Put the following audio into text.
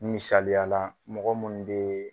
Misaliya la mɔgɔ mun bee